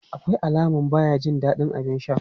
Akwai alaman baya jin dadin abin sha.